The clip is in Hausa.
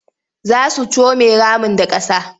Za su come ramin da ƙasa.